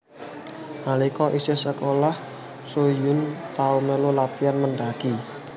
Nalika isih sekolah Soo Hyun tau melu latian mendaki